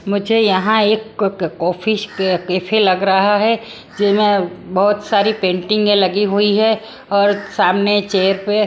मुझे यहां एक ऑफिस के कैफे लग रहा है जिमें बहोत सारी पेंटिंग में लगी हुई है और सामने चेयर पे--